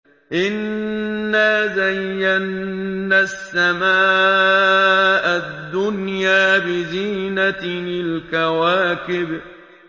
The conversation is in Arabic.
إِنَّا زَيَّنَّا السَّمَاءَ الدُّنْيَا بِزِينَةٍ الْكَوَاكِبِ